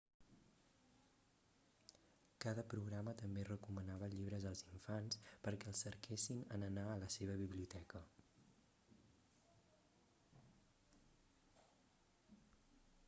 cada programa també recomanava llibres als infants perquè els cerquessin en anar a la seva biblioteca